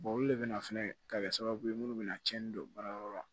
olu le bɛ na fɛnɛ ka kɛ sababu ye minnu bɛna tiɲɛni don baarayɔrɔ la